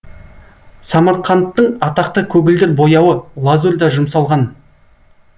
самарқандтың атақты көгілдір бояуы лазурь да жұмсалған